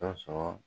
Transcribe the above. Dɔ sɔrɔ